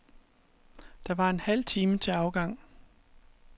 Der var en halv time til afgang.